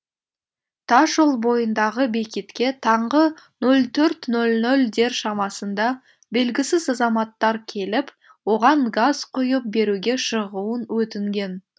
тасжол бойындағы бекетке таңғы нөл төрт нөл нөлдер шамасында белгісіз азаматтар келіп оған газ құйып беруге шығуын өтінген